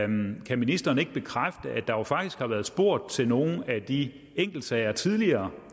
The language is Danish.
ministeren bekræfte at der faktisk har været spurgt til nogle af de enkeltsager tidligere